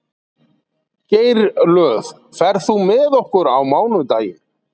Geirlöð, ferð þú með okkur á mánudaginn?